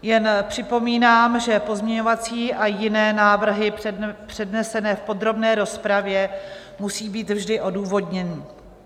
Jen připomínám, že pozměňovací a jiné návrhy přednesené v podrobné rozpravě musí být vždy odůvodněny.